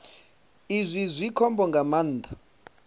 izwi zwi khombo nga maanḓa